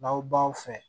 N'aw baw fɛ